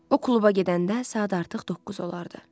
O kluba gedəndə saat artıq 9 olardı.